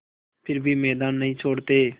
फिर भी मैदान नहीं छोड़ते